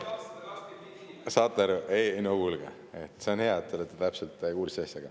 Saate aru, ei, no kuulge, see on hea, et te olete täpselt kursis asjaga.